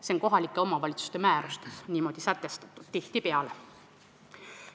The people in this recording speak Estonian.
See on kohalike omavalitsuste määrustes niimoodi tihtipeale sätestatud.